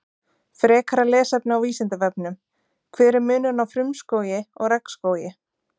Frekara lesefni á Vísindavefnum: Hver er munurinn á frumskógi og regnskógi?